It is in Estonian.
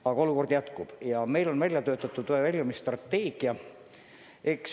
Aga raske olukord jätkub ja meil on välja töötatud väljumisstrateegia.